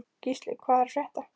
Gísli, hvað er að frétta?